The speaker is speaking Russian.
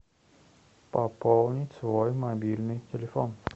пополнить свой мобильный телефон